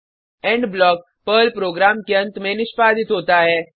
end block Perl program के अंत में निष्पादित होता है